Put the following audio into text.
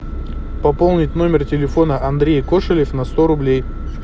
пополнить номер телефона андрей кошелев на сто рублей